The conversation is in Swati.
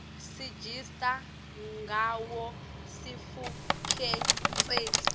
sigitsa ngawo sitfukutseti